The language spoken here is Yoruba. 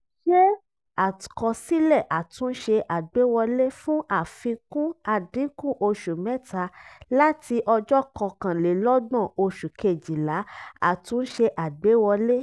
ṣé àkọsílẹ̀ àtúnṣe agbéwọlé fún àfikún àdínkù oṣù mẹ́ta láti ọjọ́ kọkánlélọ́gbọ̀n oṣù kejìlá àtúnṣe agbéwọlé.